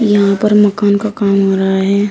यहां पर मकान का काम हो रहा है।